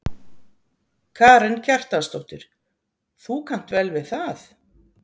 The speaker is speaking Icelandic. Karen Kjartansdóttir: Þú kannt vel við það?